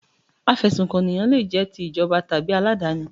Afẹ̀sùnkànyàn le jẹ́ ti ìjọba tàbí aládàáni.